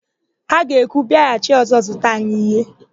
Ha ga-ekwu, " bịaghachi ọ̀zọ́ zụta anyị íhẹ́"!